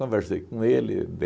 com ele,